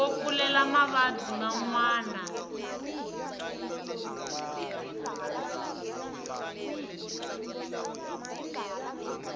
yo pfulela mavabyi man wana